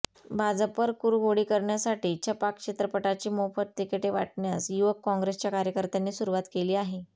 भाजपवर कुरघोडी करण्यासाठी छपाक चित्रपटाची मोफत तिकीटे वाटण्यास युवक काँग्रेसच्या कार्यकर्त्यांनी सुरुवात केली आहे